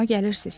Xoşuma gəlirsiz.